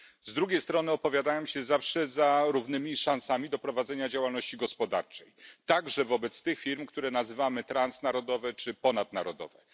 Z drugiej strony opowiadałem się zawsze za równymi szansami do prowadzenia działalności gospodarczej, także wobec tych firm, które nazywamy transnarodowymi czy ponadnarodowymi.